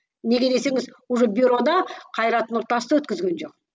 неге десеңіз уже бюрода қайрат нұртасты өткізген жоқ